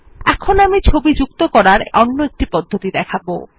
এখন আমি ছবি যুক্ত করার অন্য একটি পদ্ধতি দেখাবো